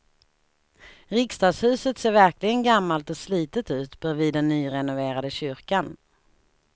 Riksdagshuset ser verkligen gammalt och slitet ut bredvid den nyrenoverade kyrkan.